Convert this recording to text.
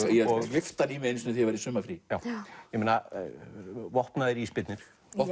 gleypti hann í mig einu sinni í sumarfríi ég meina vopnaðir ísbirnir